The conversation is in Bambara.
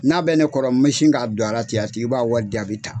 N'a bɛ ne kɔrɔ n bɛ sin k'a k'a don a ala ten, a tigi b'a wari di a bi taa.